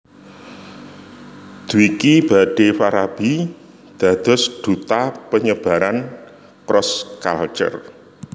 Dwiki badhe Farabi dados duta penyebaran cross culture